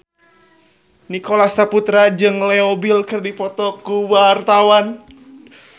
Nicholas Saputra jeung Leo Bill keur dipoto ku wartawan